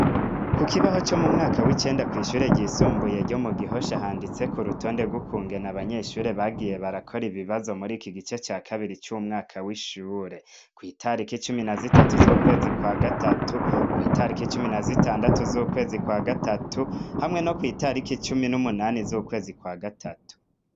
Ku kibaho co mu mwaka w'icenda kw'ishure ryisumbuye ryo mu gihosha ahanditse ku rutonde rw'ukungena abanyeshure bagiye barakora ibibazo muri iki gice ca kabiri c'umwaka w'ishure kw'itariko icumi na zitatu z'ukwezi kwa gatatu kw'itariko icumi na zitandatu z'ukwezi kwa gatatu hamwe no kw'itariko icumi n'umunani z'ukwezi kwa gatau tatu.